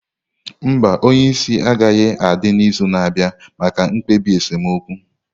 Mba, onye isi agaghị adị n'izu na-abịa maka mkpebi esemokwu